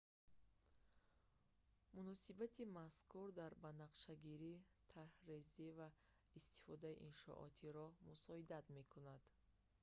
муносиботи мазкур дар банақшагирӣ тарҳрезӣ ва истифодаи иншооти роҳ мусоидат мекунанд